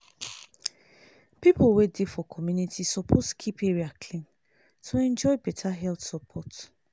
people wey dey for community suppose keep area clean to enjoy better health support.